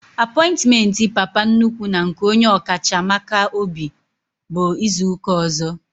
Apointiment Papa nnukwu na nke onye ọkacha maka obi bụ izuka ọzọ